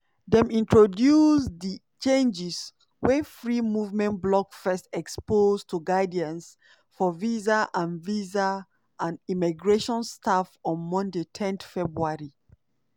dem introduce di changes wey free movement blog first expose to guidance for visa and visa and immigration staff on monday ten february.